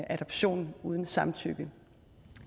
adoption uden samtykke